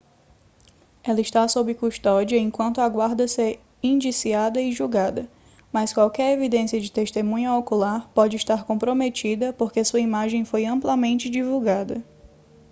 ela está sob custódia enquanto aguarda ser indiciada e julgada mas qualquer evidência de testemunha ocular pode estar comprometida porque sua imagem foi amplamente divulgada